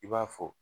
I b'a fɔ